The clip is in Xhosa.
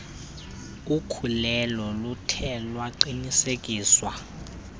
ukhulelo luthe lwaqinisekiswa